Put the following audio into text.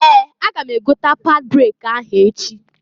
Ee! Aga m egota pad breki ahụ echi.